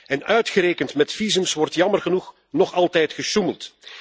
En uitgerekend met visa wordt jammer genoeg nog altijd gesjoemeld.